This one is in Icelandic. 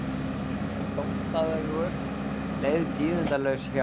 Dómsdagur leið tíðindalaus hjá